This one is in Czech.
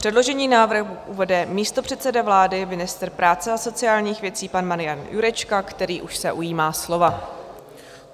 Předložený návrh uvede místopředseda vlády, ministr práce a sociálních věcí pan Marian Jurečka, který už se ujímá slova.